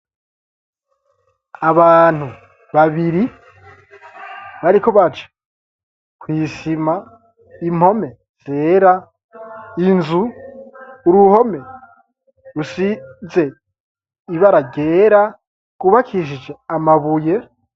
Abantu babiri bariko baca kw'isima impome zera inzu uruhome rusize ibara ryera rwubakishije amabuye.